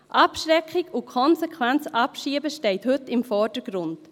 Abschreckung und konsequentes Abschieben stehen heute im Vordergrund.